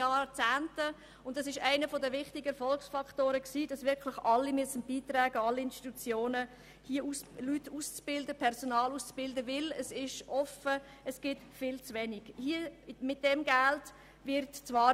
Ein wichtiger Erfolgsfaktor des Kantons Bern besteht darin, dass alle Institutionen dazu beitragen müssen, Leute auszubilden, denn es gibt viel zu wenig ausgebildetes Personal.